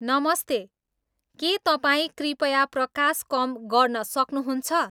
नमस्ते के तपाईँ कृपया प्रकाश कम गर्न सक्नुहुन्छ